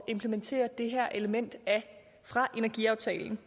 implementere det her element fra energiaftalen